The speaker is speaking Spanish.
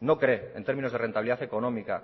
no cree en términos de rentabilidad económica